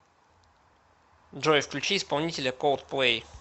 джой включи исполнителя колдплэй